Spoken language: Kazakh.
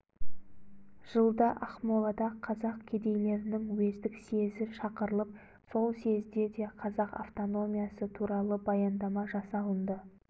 жылда ақмолада қазақ кедейлерінің уездік съезі шақырылып сол съезде де қазақ автономиясы туралы баяндама жасалынды